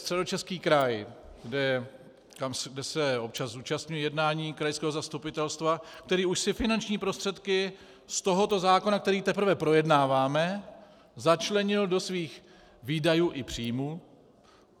Středočeský kraj, kde se občas zúčastňuji jednání krajského zastupitelstva, ten už si finanční prostředky z tohoto zákona, který teprve projednáváme, začlenil do svých výdajů i příjmů.